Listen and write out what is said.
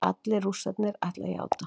Allir Rússarnir ætla að játa